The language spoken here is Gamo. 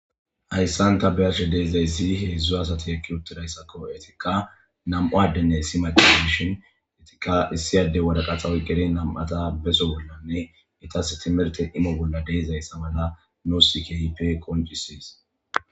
Hayssanta beyarshe deedzayssi hedzdzu asati ekki uttidayssakko etikka nam'u addenne issi maqezishin etikka issiyade wadaqaxawy gere nam'ata beso bollanne itas timirte imo bolla deezayssa mala noossikhipe koncisis.